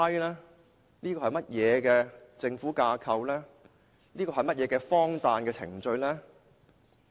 這是甚麼政府架構、甚麼荒誕的程序？